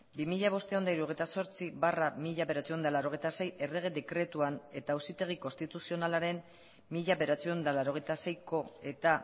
bi mila bostehun eta hirurogeita zortzi barra mila bederatziehun eta laurogeita sei errege dekretuan eta auzitegi konstituzionalaren mila bederatziehun eta laurogeita seiko eta